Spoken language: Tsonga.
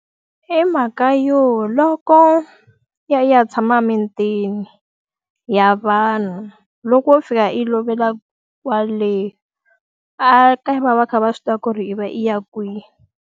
I mhaka yo loko i ya i ya tshama mitini ya vanhu, loko wo fika i lovela kwale ekaya va va va kha va swi tiva ku ri i va i ya kwihi.